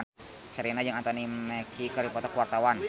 Sherina jeung Anthony Mackie keur dipoto ku wartawan